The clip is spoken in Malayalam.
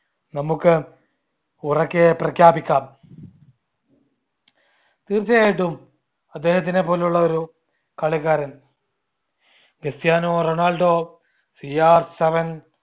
നമ്മുക്ക് ഉറക്കെ പ്രഖ്യാപിക്കാം തീർച്ചയായിട്ടും അദ്ദേഹത്തിനെപോലുള്ള ഒരു കളിക്കാരൻ ക്രിസ്റ്റിയാനോ റൊണാൾഡോ CRseven